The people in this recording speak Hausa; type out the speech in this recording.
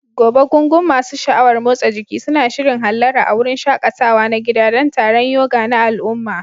Gobe, gungun masu sha'awar motsa jiki suna shirin hallara a wurin shaƙatawa na gida don taron yoga na al'umma.